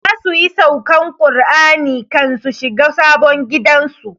Za su yi saukan Kur'ani kan su shiga sabon gidan su